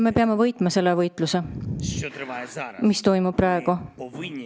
Me peame võitma selle võitluse, mis toimub praegu.